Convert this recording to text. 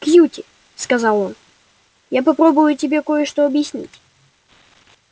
кьюти сказал он я попробую тебе кое-что объяснить